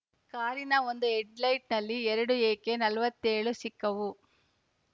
ಕಾರಿನ ಒಂದು ಹೆಡ್‌ಲೈಟ್‌ನಲ್ಲಿ ಎರಡು ಎಕೆ ನಲವತ್ತ್ ಏಳು ಸಿಕ್ಕವು